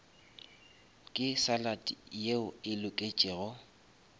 ke salad yeo e loketšego